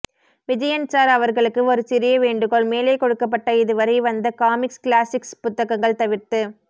Vijayan sir அவர்களுக்கு ஒரு சிறிய வேண்டுகோள் மேலே கொடுக்கப்பட்ட இதுவரை வந்த காமிக்ஸ் கிளாசிக்ஸ் புத்தகங்கள் தவிர்த்து